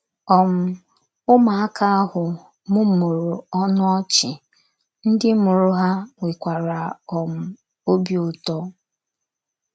um Ụmụaka ahụ mụmụrụ ọnụ ọchị, ndị mụrụ ha nwekwara um obi ụtọ.